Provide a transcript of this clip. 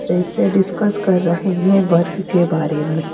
फिर से डिस्कस कर रहे हैं वर्क के बारे में--